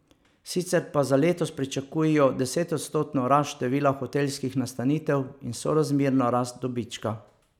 Sicer pa za letos pričakujejo desetodstotno rast števila hotelskih nastanitev in sorazmerno rast dobička.